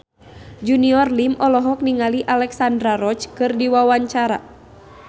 Junior Liem olohok ningali Alexandra Roach keur diwawancara